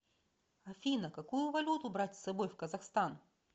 афина какую валюту брать с собой в казахстан